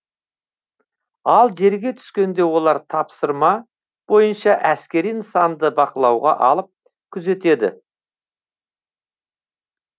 ал жерге түскенде олар тапсырма бойынша әскери нысанды бақылауға алып күзетеді